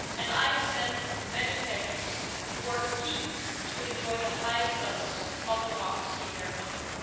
I have met many Kenyans who are keen to enjoy the highest levels of democracy in their country.